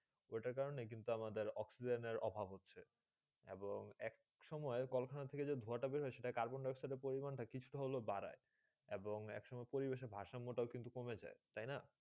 ওটা কারণে কিন্তু আমাদের অক্সিজেনে অভাব হচ্ছেই এবং এক সময়ে কলকারখানা থেকে ধুয়া তা বের হয়ে সেটা কার্বনডাইঅক্সসিড পরিমাণ তা কিছু তা হলে বাধ্য এবং এক সংঘে পরিবেশে তা ভাসঙ্গ তা কিন্তু কমে যাই তাই না